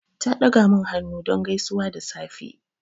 Ta ɗaga min hannu don gaisuwa da safe.